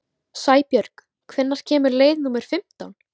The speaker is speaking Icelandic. Sæbjörg, hvenær kemur leið númer fimmtán?